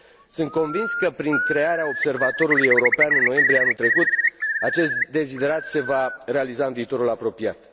Sunt convins că, prin crearea Observatorului European în noiembrie anul trecut, acest deziderat se va realiza în viitorul apropiat.